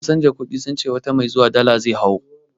Wurin canza kuɗi sun ce wata mai zuwa dala zai hau